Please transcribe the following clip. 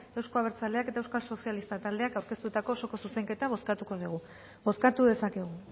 euzko abertzaleak eta euskal sozialistak taldeak aurkeztutako osoko zuzenketa bozkatuko dugu bozkatu dezakegu